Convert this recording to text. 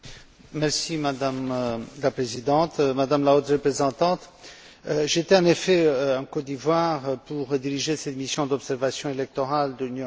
Madame la Présidente, Madame la Haute représentante, j'étais, en effet, en Côte d'Ivoire pour diriger cette mission d'observation électorale de l'Union européenne.